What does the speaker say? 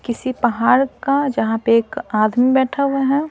किसी पहाड़ का जहां पे एक आदमी बैठा हुआ है।